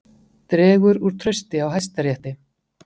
Dregur úr trausti á Hæstarétti